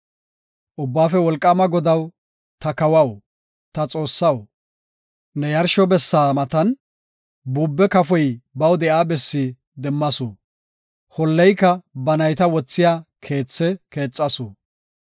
Ubbaafe Wolqaama Godaw, ta kawaw, ta Xoossaw, ne yarsho bessa matan buube kafoy baw de7iya bessi demmasu; holleyka ba nayta wothiya keethe keexasu.